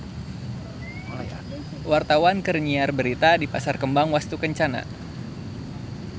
Wartawan keur nyiar berita di Pasar Kembang Wastukencana